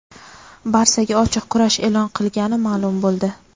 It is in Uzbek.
"Barsa"ga ochiq kurash e’lon qilgani ma’lum bo‘ldi;.